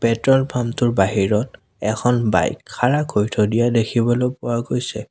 Petrol pump টোৰ বাহিৰত এখন বাইক খাৰা কৰি থৈ দিয়া দেখিবলৈ পোৱা গৈছে।